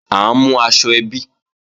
À ń mú aṣọ ẹbí